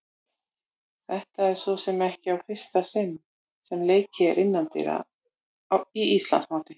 Þetta er svo sem ekki í fyrsta sinn sem leikið er innandyra í Íslandsmóti.